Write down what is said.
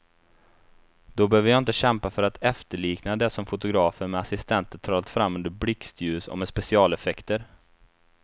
Då behöver jag inte kämpa för att efterlikna det som fotografen med assistenter trollat fram under blixtljus och med specialeffekter.